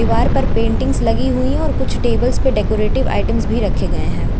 दीवार पर पेंटिंग्स लगी हुई हैं औऱ कुछ टेबल्स पे डेकोरेटिव आइटम्स भी रखे गए हैं।